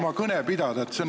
Ma ei räägi praegu trahvidest.